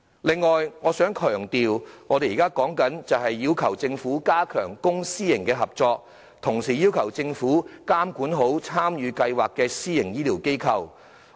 此外，我想強調，我們要求政府加強公私營合作，並監管參與公私營醫療協作計劃的私營醫療機構。